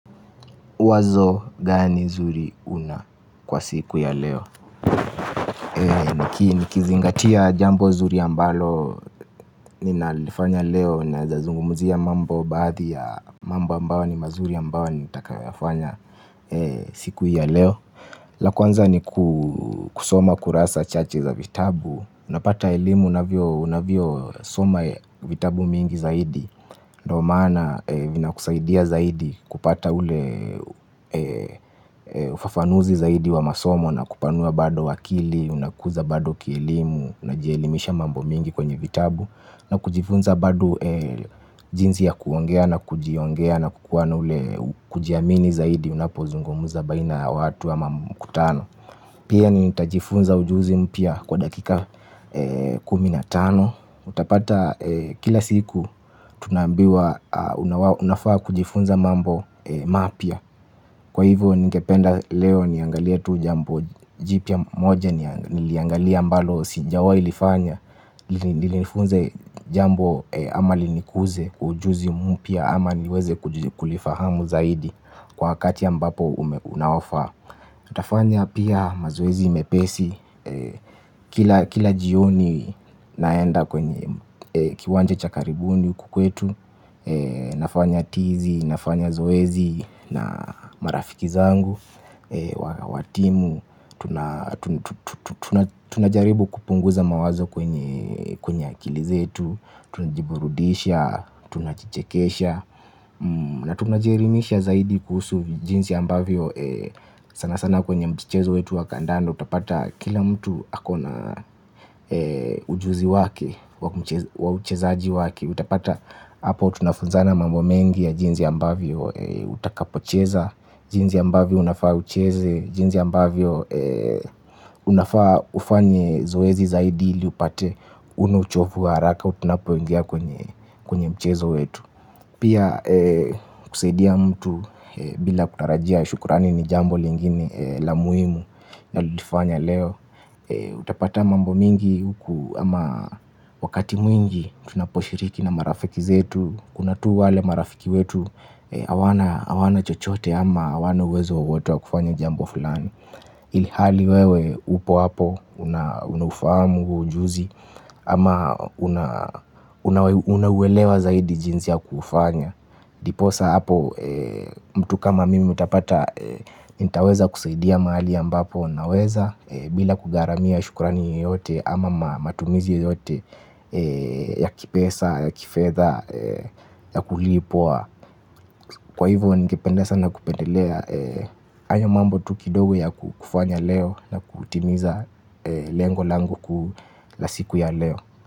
Wazo gani zuri una kwa siku ya leo ee niki nikizingatia jambo zuri ambalo ninalifanya leo naeza zungumzia mambo baadhi ya mambo ambayo ni mazuri ambao nitakayoyafanya siku ya leo la kwanza ni kusoma kurasa chache za vitabu unapata elimu unavyosoma vitabu mingi zaidi ndo maana vinakusaidia zaidi. Kupata ule ufafanuzi zaidi wa masomo na kupanua bado akili unakuza bado kielimu unajielimisha mambo mengi kwenye vitabu na kujifunza bado jinzi ya kuongea na kujiongea na kukuwa na ule kujiamini zaidi. Unapozungumuza baina ya watu ama mkutano. Pia nitajifunza ujuzi mpya kwa dakika kumi na tano. Utapata kila siku tunambiwa unafaa kujifunza mambo mapya kwa hivyo ningependa leo niangalie tu jambo jipya moja niliangalia ambalo sijawahi lifanya ili nifunze jambo ama linikuze ujuzi mpya ama niweze kulifahamu zaidi kwa hakati ambapo unaofaa nitafanya pia mazoezi mepesi. Kila jioni naenda kwenye kiwanja cha karibuni huku kwetu. Nafanya tizi, nafanya zoezi na marafiki zangu wa timu, tunajaribu kupunguza mawazo kwenye akili zetu tunajiburudisha, tunajichekesha. Na tunajielimisha zaidi kuhusu jinzi ambavyo sana sana kwenye mchezo wetu wa kandano. Utapata kila mtu akona ujuzi wake wa uchezaji wake. Utapata hapo tunafunzana mambo mengi ya jinzi ambavyo utakapocheza. Jinzi ambavyo unafaa ucheze. Jinzi ambavyo unafaa ufanye zoezi zaidi ili upate una uchofu wa haraka tunapoingia kwenye mchezo wetu. Pia kusaidia mtu bila kutarajia shukurani ni jambo lingine la muhimu na litifanya leo. Utapata mambo mingi huku ama wakati mwingi tunaposhiriki na marafiki zetu. Kuna tu wale marafiki wetu hawana chochote ama hawana uwezo wowote wa kufanya jambo fulani. Ilhali wewe upo hapo unaufahamu huo ujuzi ama unaelewa zaidi jinzi ya kufanya. Ndiposa hapo mtu kama mimi utapata nitaweza kusaidia mahali ambapo naweza. Bila kugaramia shukurani yoyote ama matumizi yoyote ya kipesa ya kifedha ya kulipwa kwa hivyo ningepende sana kupendelea. Haya mambo tu kidogo ya kufanya leo na kuutimiza lengo langu kuu la siku ya leo.